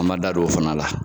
An m'an da don o fana la.